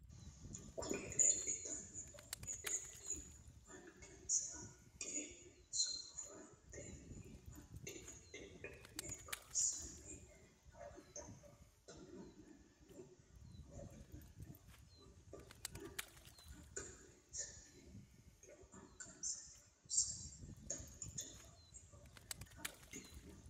kuri leelitanni noo weddelli angasanni haqqe soofatenni addi addi udduunne loosanni afantanno. hattonni mannu ofolanno wonbare angansanni loosanni leelitanno. jawa eo afidhanno.